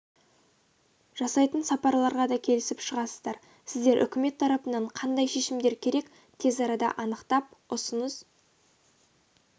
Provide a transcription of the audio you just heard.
жасайтын сапарларға да келісіп шығасыздар сіздер үкімет тарапынан қандай шешімдер керек тез арада анықтап ұсыныс